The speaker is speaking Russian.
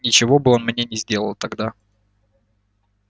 ничего бы он мне не сделал тогда